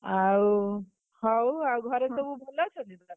ଆଉ, ହଉ ଆଉ ଘରେ ହଁ, ସବୁ ଭଲ ଅଛନ୍ତି ତ?